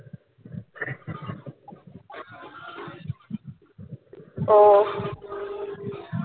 ওহ